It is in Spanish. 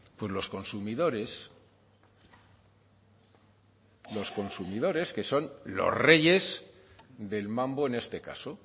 pues los consumidores los consumidores que son los reyes del mambo en este caso